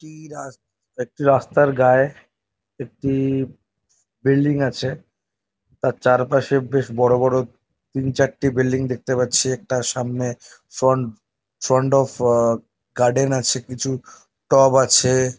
কি রাস্ত-- একটি রাস্তার গায়ে একটি বিল্ডিং আছে। তার চারপাশে বেশ বড় বড় তিন চারটে বিল্ডিং দেখতে পাচ্ছি। একটার সামনে ফ্রন্ট ফ্রন্ট অফ গার্ডেন আছে। কিছু টব আছে।